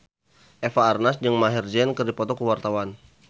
Eva Arnaz jeung Maher Zein keur dipoto ku wartawan